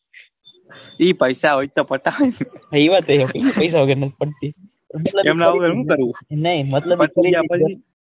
એ પૈસા હોય તો પટાવે ને એ વાત નાઈ મતલબ કે કોઈ આપણને,